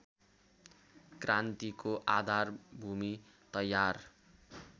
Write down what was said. क्रान्तिको आधारभूमि तयार